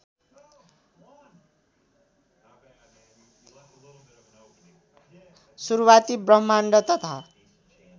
सुरूवाती ब्रह्माण्ड तथा